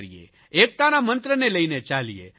એકતાના મંત્રને લઇને ચાલીએ